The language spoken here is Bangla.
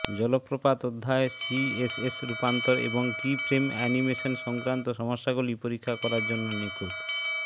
জলপ্রপাত অধ্যায় সিএসএস রূপান্তর এবং কীফ্রেম অ্যানিমেশন সংক্রান্ত সমস্যাগুলি পরীক্ষা করার জন্য নিখুঁত